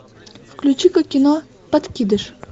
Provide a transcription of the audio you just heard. включи ка кино подкидыш